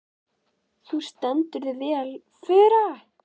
Þú stendur þig vel, Fura!